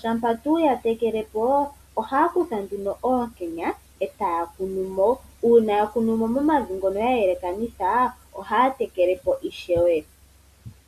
shampa yatekele po ohaya kutha oonkenya etaya kunu mo. Uuna yakunumo momavi ngono ya yelekanitha ohata tekelemo ishewe.